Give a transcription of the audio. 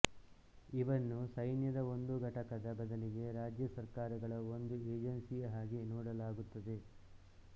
ಇವನ್ನು ಸೈನ್ಯದ ಒಂದು ಘಟಕದ ಬದಲಿಗೆ ರಾಜ್ಯ ಸರ್ಕಾರಗಳ ಒಂದು ಏಜೆನ್ಸಿಯ ಹಾಗೆ ನೋಡಲಾಗುತ್ತದೆ